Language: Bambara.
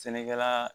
Sɛnɛkɛla